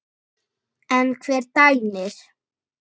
En hver dæmir?